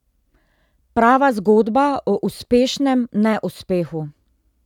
Prava zgodba o uspešnem neuspehu.